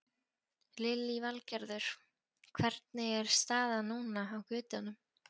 Lillý Valgerður: Hvernig er staðan núna á götunum?